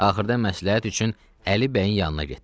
Axırda məsləhət üçün Əli bəyin yanına getdi.